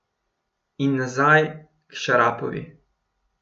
In nazaj k Šarapovi.